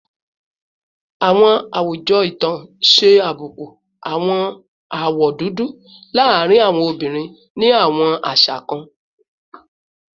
Awọn awujọ itan ṣe abuku awọn awọ dudu laarin awọn obinrin ni awọn aṣa kan